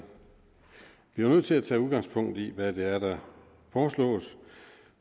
nødt til at tage udgangspunkt i hvad det er der foreslås